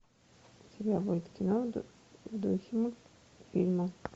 у тебя будет кино в духе мультфильма